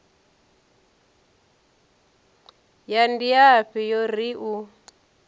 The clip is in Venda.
ya ndiafhi yo ri u